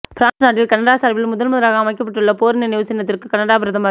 France நாட்டில் Canada சார்பில் முதல் முதலாக அமைக்கப்பட்டுள்ள போர் நினைவு சின்னத்திற்கு கனடா பிரதமர்